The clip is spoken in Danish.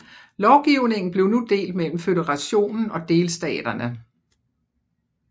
Lovgivningen blev nu delt mellem føderationen og delstaterne